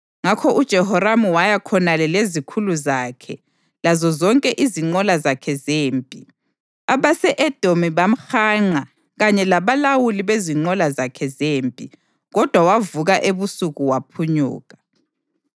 Ngakho uJehoramu waya khonale lezikhulu zakhe lazozonke izinqola zakhe zempi. Abase-Edomi bamhanqa kanye labalawuli bezinqola zakhe zempi, kodwa wavuka ebusuku waphunyuka.